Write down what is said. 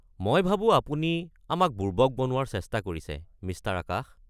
মই ভাবো আপুনি আমাক বুৰ্বক বনোৱাৰ চেষ্টা কৰিছে, মিষ্টাৰ আকাশ।